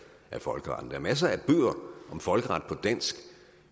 af folkeretten der er masser af bøger om folkeret på dansk